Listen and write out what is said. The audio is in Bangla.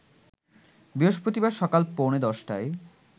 বৃহস্পতিবার সকাল পৌনে ১০টায়